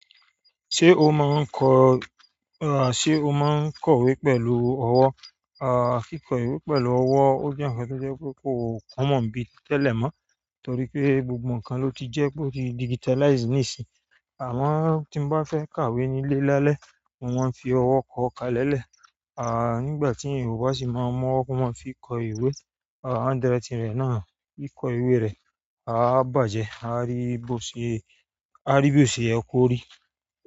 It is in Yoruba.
Ṣé o máa ń kọ̀, àṣé o máa ń kọ ìwé pẹ̀lú ọwọ́, à kíkọ ìwé pẹ̀lú ọwọ́ ó jẹ́ ǹkan tó jẹ́ pé kò kún mọ̀ bí tẹ́lẹ̀ mọ́ torí pé gbogbo ǹkan ló ti jẹ́ pé ó ti digitalize níìsín, àmo tí nbá fẹ́ kàwé ní ìle lálẹ́ mo mon fi ọwọ́ kọ̀ ọ́ ká lẹ́lẹ̀. À nígbà tí Yorùbá sì máa mọ ọwọ́ wọn fi kọ ìwé, à handwritin re náà bí kọ ìwé rẹ̀, à bá jẹ, a rí bí ó ṣe, a rí bí ó ṣe yẹ korí.